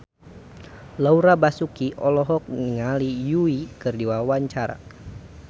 Laura Basuki olohok ningali Yui keur diwawancara